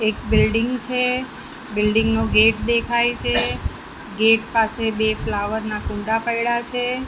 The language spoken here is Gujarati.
એક બિલ્ડીંગ છે બિલ્ડિંગ નો ગેટ દેખાય છે ગેટ પાસે બે ફ્લાવર ના કુંડ પૈડા છે.